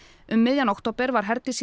um miðjan október var Herdís